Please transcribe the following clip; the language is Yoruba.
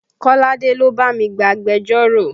Kolade ló bá mi gba agbẹjọ́rò